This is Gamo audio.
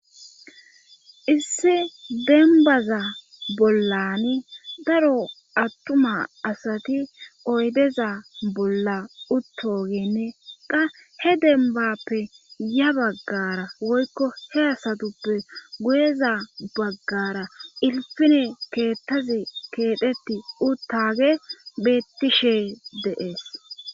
Issi dembaza bollani daro attuma asati oydeza bolla uttogenne qa he dembappe ya baggara woykko he asatuppe guyeza baggara ilfine keettazi keetheti uttage bettishe dees.